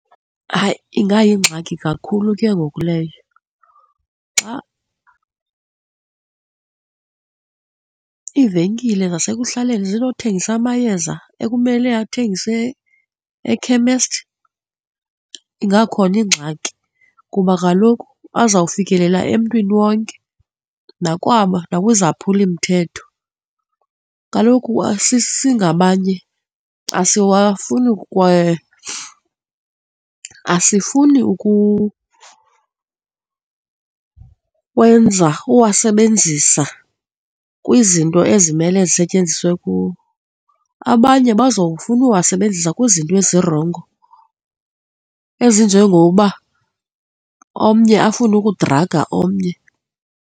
Hayi, ingayingxaki kakhulu ke ngoku leyo xa iivenkile zasekuhlaleni zinothengisa amayeza ekumele athengiswe ekhemesti, ingakhona ingxaki kuba kaloku aza kufikelela emntwini wonke nakwaba nakwizaphulimthetho, kaloku singabanye asiwafuni kwaye asifuni wenza, uwasebenzisa kwizinto ezimele zisetyenziswe kuwo, abanye bazofuna uwasebenzisa kwizinto ezirongo ezinjengoba omnye afune ukudraga omnye.